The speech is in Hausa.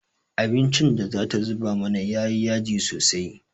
Abincin da ta zuba mana ya yi yaji sosai.